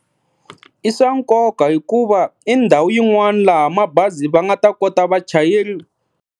I swa nkoka hikuva i ndhawu yin'wana laha mabazi va nga ta kota vachayeri.